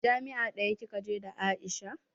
Jami'a ɗaya kika je da Aisha?